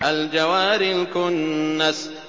الْجَوَارِ الْكُنَّسِ